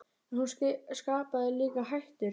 En hún skapaði líka hættur.